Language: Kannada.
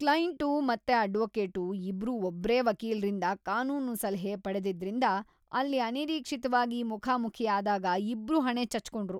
ಕ್ಲೈಂಟು ಮತ್ತೆ ಅಡ್ವೊಕೇಟು ಇಬ್ರೂ ಒಬ್ರೇ ವಕೀಲ್ರಿಂದ ಕಾನೂನು ಸಲಹೆ ಪಡೆದಿದ್ರಿಂದ ಅಲ್ಲಿ ಅನಿರೀಕ್ಷಿತ್ವಾಗಿ ಮುಖಾಮುಖಿ ಆದಾಗ ಇಬ್ರೂ ಹಣೆ ಚಚ್ಕೊಂಡ್ರು.